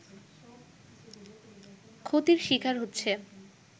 ক্ষতির শিকার হচ্ছে